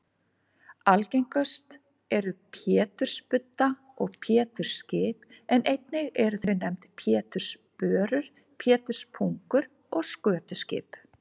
Algengust eru pétursbudda og pétursskip en einnig eru þau nefnd pétursbörur, péturspungur og skötuskip.